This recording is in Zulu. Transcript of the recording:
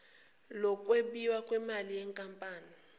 lokwabiwa kwemali yenkampani